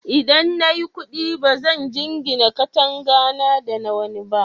Idan na yi kuɗi, ba zan jingina katangata da ta wani ba.